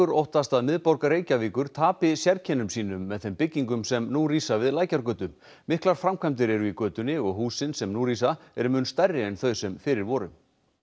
óttast að miðborg Reykjavíkur tapi sérkennum sínum með þeim byggingum sem nú rísa við Lækjargötu miklar framkvæmdir eru í götunni og húsin sem nú rísa eru mun stærri en þau sem fyrir voru